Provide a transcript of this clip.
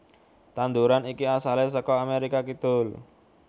Tanduran iki asalé saka Amérika Kidul